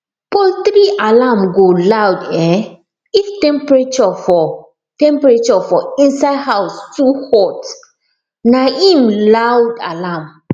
poultry alarm go loud um if temperature for temperature for inside house too hot na um loud alarm